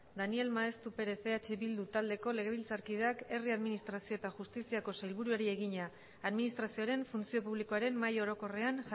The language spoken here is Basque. daniel maeztu perez eh bildu taldeko legebiltzarkideak herri administrazio eta justiziako sailburuari egina administrazioaren funtzio publikoaren mahai orokorrean